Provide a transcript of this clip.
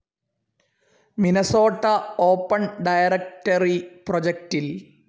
Minnesota open directory പ്രൊജക്റ്റിൽ